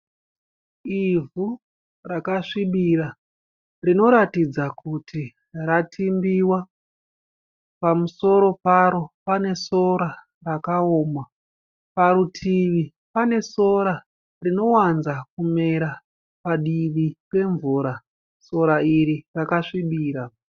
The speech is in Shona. Ivhu rakasvibira rinoratidza kuti ratimbiwa. Pamusoro paro panesora rakaoma. Parutivi pane sora rinowanza kumera padivi pemvura. Sora iri rakasvibira.